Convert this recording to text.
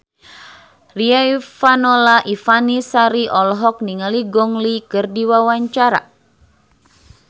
Riafinola Ifani Sari olohok ningali Gong Li keur diwawancara